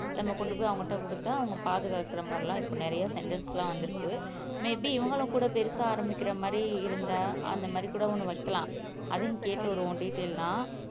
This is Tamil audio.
நம்ம கொண்டு போய் அவங்ககிட்ட குடுத்தா அவங்க பாதுகாக்கிற மாதிரி எல்லாம் இப்ப நிறைய சென்டர்ஸ் எல்லாம் வந்துருக்கு மே பீ இவங்களும் கூட பெருசா ஆரம்பிக்கிற மாறி இருந்தா அந்தமாறிகூட ஒன்னு வைக்கலாம் அதையும் கேட்டுட்டு வருவோம் டீடெய்ல் எல்லாம்